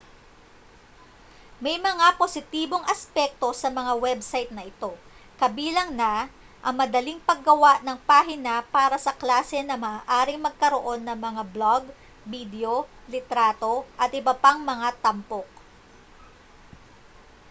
may mga positibong aspekto sa mga website na ito kabilang na ang madaling paggawa ng pahina para sa klase na maaaring magkaroon ng mga blog bidyo litrato at iba pang mga tampok